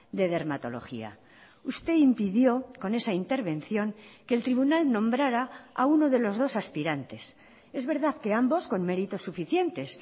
de dermatología usted impidió con esa intervención que el tribunal nombrara a uno de los dos aspirantes es verdad que ambos con meritos suficientes